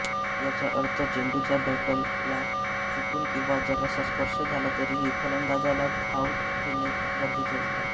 याचा अर्थ चेंडूचा बॅटला चुकून किंवा जरासा स्पर्श झाला तरीही फलंदाजाला धाव घेणे गरजेचे असते